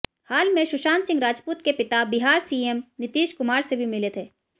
हाल में सुशांत सिंह राजपूत के पिता बिहार सीएम नीतीश कुमार से भी मिले थे